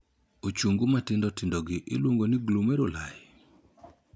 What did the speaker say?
Ochungu matindo tindogi iluongo ni 'glomeruli'.